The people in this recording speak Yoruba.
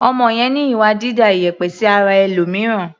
Ọmọ yẹn ní ìwà dída ìyẹ̀pẹ̀ sí ara ẹlòmìíràn.